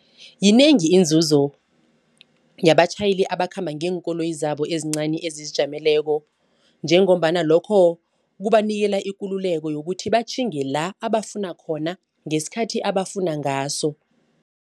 Yinengi inzuzo yabatjhayeli abakhamba ngeenkoloyi zabo ezincani ezizijameleko njengombana lokho kubanikela ikululeko yokuthi batjhinge la abafuna khona ngesikhathi abafuna ngaso.